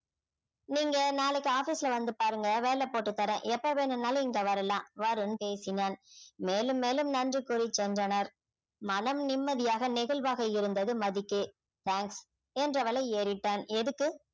நீங்க நாளைக்கு office ல வந்து பாருங்க வேலை போட்டு தர்றேன் எப்ப வேணும்னாலும் இங்க வரலாம் வருண் பேசினான் மேலும் மேலும் நன்றி கூறி சென்றனர் மனம் நிம்மதியாக நெகிழ்வாக இருந்தது மதிக்கு thanks என்றவளை ஏறிட்டான் எதுக்கு?